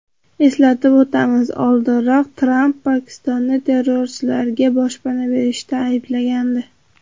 Eslatib o‘tamiz, oldinroq Tramp Pokistonni terrorchilarga boshpana berishda ayblagandi .